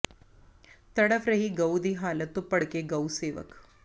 ਤੜਫ਼ ਰਹੀ ਗਊ ਦੀ ਹਾਲਤ ਤੋਂ ਭੜਕੇ ਗਊ ਸੇਵਕ